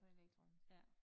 På elektronisk